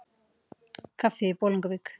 Í kaffi í Bolungavík